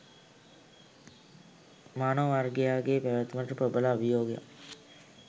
මානව වර්ගයාගේ පැවැත්මට ප්‍රබල අභියෝගයක්